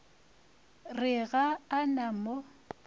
re ga a na mo